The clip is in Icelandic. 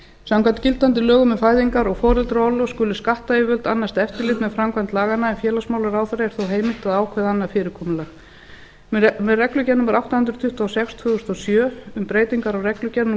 samkvæmt gildandi lögum um fæðingar og foreldraorlof skulu skattayfirvöld annast eftirlit með framkvæmd laganna en félagsmálaráðherra er þó heimilt að ákveða annað fyrirkomulag með reglugerð númer átta hundruð tuttugu og sex tvö þúsund og sjö um breytingar á reglugerð